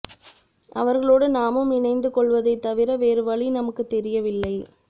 அவர்களோடு நாமும் இணைந்து கொள்வதைத் தவிர வேறு வழி நமக்குத் தெரியவில்லை